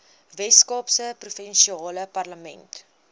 weskaapse provinsiale parlement